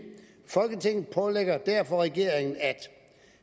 folketinget pålægger derfor regeringen at